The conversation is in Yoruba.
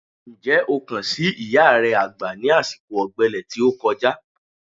Ǹjẹ́ o kàn sí ìyá re àgbà ní àsìkò ọ̀gbẹlẹ̀ tí ó kọjá?